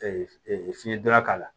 fiɲɛ donna k'a la